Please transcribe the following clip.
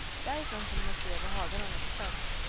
Därifrån kunde man se över hagarna ner till sjön.